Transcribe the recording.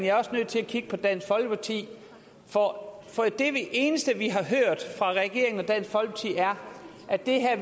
er også nødt til at kigge på dansk folkeparti for det eneste vi har hørt fra regeringen og dansk folkeparti er at det her